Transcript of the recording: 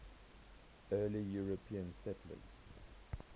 early european settlers